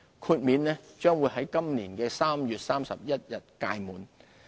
豁免將於今年3月31日屆滿。